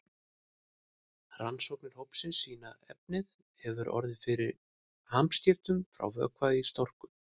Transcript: Rannsóknir hópsins sýna að efnið hefur orðið fyrir hamskiptum frá vökva í storku.